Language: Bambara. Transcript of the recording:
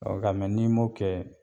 ɔ nka n'i m'o kɛ